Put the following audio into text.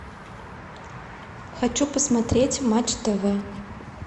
хочу посмотреть матч тв